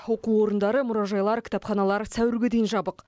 оқу орындары мұражайлар кітапханалар сәуірге дейін жабық